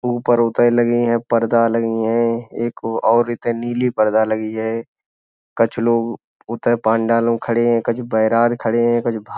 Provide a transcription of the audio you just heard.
ऊपर उतै लगी हैं पर्दा लगी हैं। एक और इतै नीली पर्दा लगी हैं। कछु लोग उतै पंडाल में खड़े हैं। कछु बैरार खड़े हैं। कछु भा --